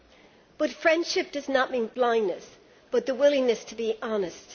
However, friendship does not mean blindness but the willingness to be honest.